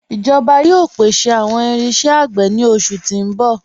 Ijoba yóò pèsè awọn irinṣẹ̀ agbè ni oṣù ti n bọ̀.